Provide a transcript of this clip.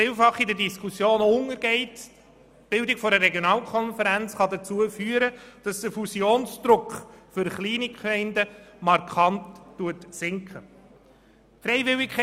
Vielfach geht in der Diskussion unter, dass die Bildung einer Regionalkonferenz den Fusionsdruck für kleine Gemeinden markant senken kann.